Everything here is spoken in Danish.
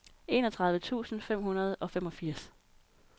enogtredive tusind fem hundrede og femogfirs